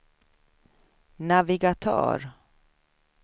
navigatör